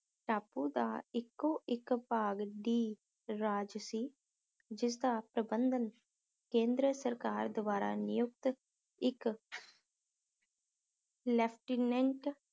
ਟਾਪੂ ਦਾ ਇੱਕੋ ਇੱਕ ਭਾਗ ਡੀ ਰਾਜ ਸੀ ਜਿਸਦਾ ਪ੍ਰਬੰਧਨ ਕੇਂਦਰ ਸਰਕਾਰ ਦਵਾਰਾ ਨਿਯੁਕਤ ਇੱਕ ਲੇਫ਼ਟੀਨੇੰਟ